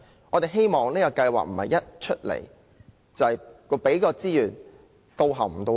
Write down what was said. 我們希望這項計劃不會"到喉唔到肺"。